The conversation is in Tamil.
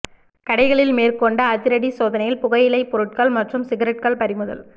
கடைகளில் மேற்கொண்ட அதிரடி சோதனையில் புகையிலை பொருட்கள் மற்றும் சிகரெட்கள் பறிமுதல்